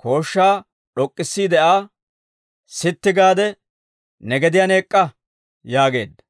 kooshshaa d'ok'k'issiide Aa, «Sitti gaade ne gediyaan ek'k'a» yaageedda;